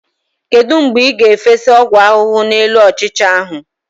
Kedu mgbe ị ga-efesa ọgwụ ahụhụ n'elu ọchịcha ahu?